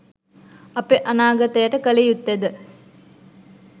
අප අනාගතයට කල යුත්තෙද